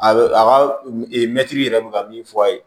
A bɛ a ka mɛtiri yɛrɛ bɛ ka min fɔ a ye